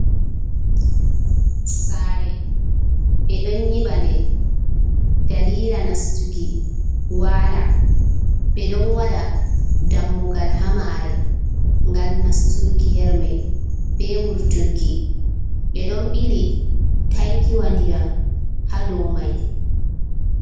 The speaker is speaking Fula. Saare ɓe ɗon nyibɓa nde dalila nastuki wala, ɓe ɗon waɗa dammugal ha mare gal nastuki hermei be wurturki, ɓe ɗon bili tankiwa ndiyam ha domai.